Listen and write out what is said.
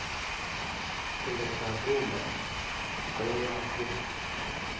tulet ap rumba koyoyo atien